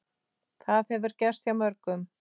Það hefur gerst hjá mörgum.